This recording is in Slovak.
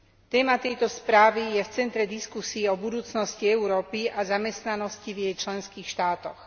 Téma tejto správy je v centre diskusie o budúcnosti Európy a zamestnanosti v jej členských štátoch.